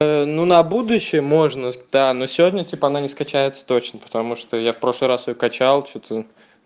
ну на будущее можно да но сегодня типа она не скачается точно потому что я в прошлый раз её качал что-то